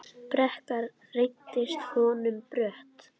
Brekka reynst honum brött.